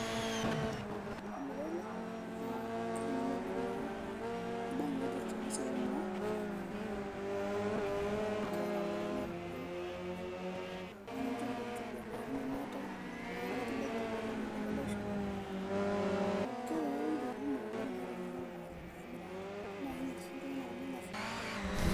ormiraa ele na kitoning'o oleng naa imbaa naipirta ena siai ormiraa aa e keraa iltung'anak injio nikincho todua intokitin nemeetay eikilej ele toki oleng keleisho neeku keyau ele toki intokitin kumok oleng naa eitu ining'oo naa ormiraa naa keinyial sii iltung'anak oleng afya.